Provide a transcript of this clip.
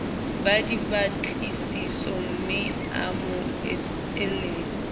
ba dipatlisisomme a mo eletse